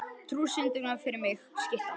Trú, syngdu fyrir mig „Skyttan“.